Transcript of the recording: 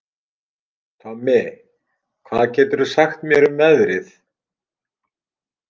Tommi, hvað geturðu sagt mér um veðrið?